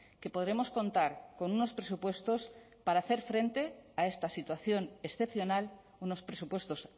que podremos contar con unos presupuestos para hacer frente a esta situación excepcional unos presupuestos